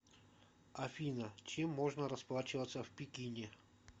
афина чем можно расплачиваться в пекине